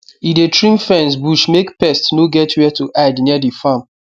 e dey trim fence bush make pest no get where to hide near the farm